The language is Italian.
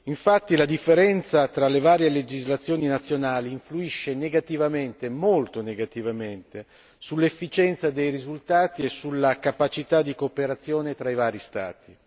Infatti, la differenza tra le varie legislazioni nazionali influisce negativamente, molto negativamente, sull'efficienza dei risultati e sulla capacità di cooperazione tra i vari Stati.